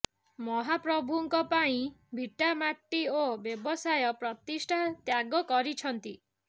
ମହାପ୍ରଭୁଙ୍କ ପାଇଁ ଭିଟାମାଟି ଓ ବ୍ୟବସାୟ ପ୍ରତିଷ୍ଠାନ ତ୍ୟାଗ କରିଛନ୍ତି